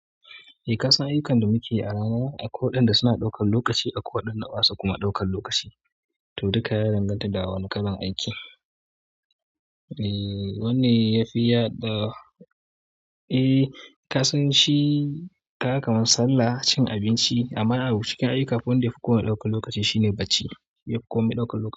E kasan ayyukan da muke yi a rana akwai waɗanda suna ɗaukan lokaci, akwai waɗanda basa kuma ɗaukan lokaci to duka ya danganta da wane kalan aiki. Eh wanne yafi yaɗa. Eh ka san shi kaga kaman sallah cin abinci amma a cikin aiyuka akwai wanda yafi komai ɗaukan lokaci shine bacci yafi komai ɗaukan lokaci.